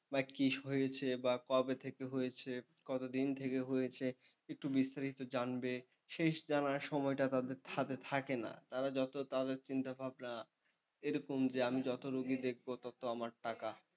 বা কি হয়েছে বা কবে থেকে হয়েছে, কতদিন থেকে হয়েছে একটু বিস্তারিত জানবে সেই জানার সময়টা তাদের হাতে থাকে না। তারা যত তাদের চিন্তা ভাবনা এরকম যে আমি যত রুগী দেখবো তত আমার টাকা।